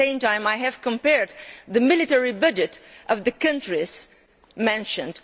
At the same time, I have compared the military budget of the countries mentioned.